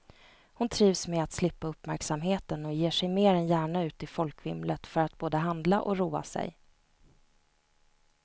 Hon trivs med att slippa uppmärksamheten och ger sig mer än gärna ut i folkvimlet för att både handla och roa sig.